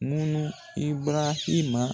Munnu Ibarahima